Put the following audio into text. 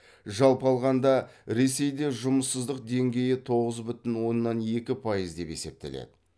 жалпы алғанда ресейде жұмыссыздық деңгейі тоғыз бүтін оннан екі пайыз деп есептеледі